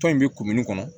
Tɔn in bɛ kumuni kɔnɔ